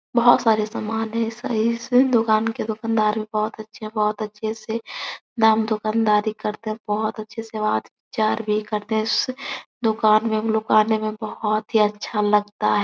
बोहोत सारे समान हैं से दुकान के दुकानदार भी बोहोत अच्छे हैं बोहोत अच्छे से दाम दुकानदारी करतें हैं बोहोत अच्छे से वहाँ प्रचार भी करते हैं उससे दुकान मे हम लोगो को आने मे बोहोत ही अच्छा लगता है।